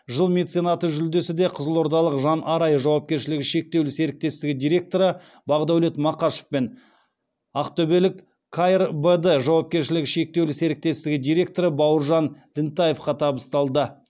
жыл меценаты жүлдесі де қызылордалық жан арай жауапкершілігі шектеулі серіктестігі директоры бақдәулет мақашов пен ақтөбелік кайр бд жауапкершілігі шектеулі серіктестігі директоры бауыржан дінтаевқа табысталды